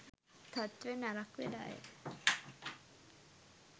තත්ත්වය නරක් වෙලාය